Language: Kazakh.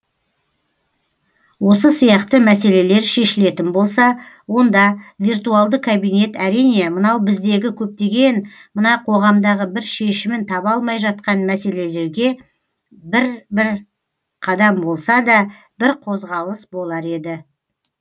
осы сияқты мәселелер шешілетін болса онда виртуалды кабинет әрине мынау біздегі көптеген мына қоғамдағы бір шешімін таба алмай жатқан мәселелерге бір бір қадам болсада бір қозғалыс болар еді